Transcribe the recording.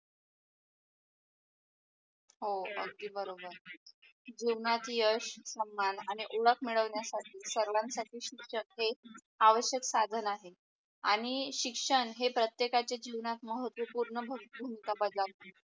हो अगदी बरोबर जीवनात यश सन्मान आणि उडक मिळवण्या साठी सर्वाण साठी शिक्षण हे आवश्यक साधन आहे, आणि शिक्षण हे प्रतेकच्या जीवनात महत्वपूर्ण भूमिका बजावते.